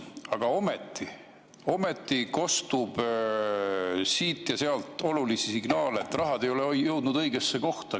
Aga ometi kostub siit ja sealt signaale, et raha ei ole jõudnud õigesse kohta.